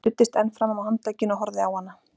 Ég studdist enn fram á handlegginn og horfði á hana.